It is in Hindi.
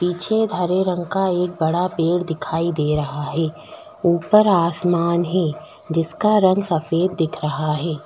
पीछे धरे रंग का एक बड़ा पेड़ दिखाई दे रहा है ऊपर आसमान है जिसका रंग सफेद दिख रहा है।